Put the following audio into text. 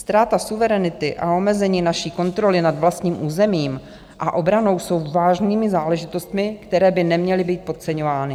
Ztráta suverenity a omezení naší kontroly nad vlastním územím a obranou jsou vážnými záležitostmi, které by neměly být podceňovány.